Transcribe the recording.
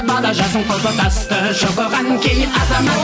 бала жасын құлпытасты шұқыған кей азамат